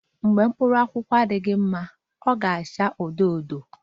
Mgbe mkpụrụ akwụkwọ ndụ akwụkwọ ndụ na-adịghị mma ọ ga-aghọ odo odo